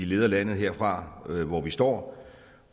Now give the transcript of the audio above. leder landet herfra hvor vi står